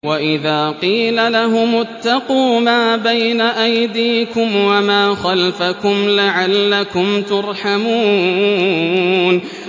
وَإِذَا قِيلَ لَهُمُ اتَّقُوا مَا بَيْنَ أَيْدِيكُمْ وَمَا خَلْفَكُمْ لَعَلَّكُمْ تُرْحَمُونَ